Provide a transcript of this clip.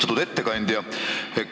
Austatud ettekandja!